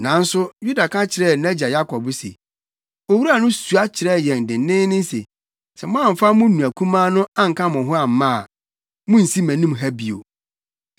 Nanso Yuda ka kyerɛɛ nʼagya Yakob se, “Owura no sua kyerɛɛ yɛn denneennen se, ‘Sɛ moamfa mo nua kumaa no anka mo ho amma a, munnsi mʼanim ha bio.’